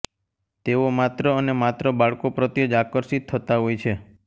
તેઓ માત્ર અને માત્ર બાળકો પ્રત્યે જ આકર્ષિત થતા હોય છે